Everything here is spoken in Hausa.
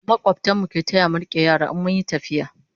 makwabtan mu ke taya mu rike yara in mun Yi tafiya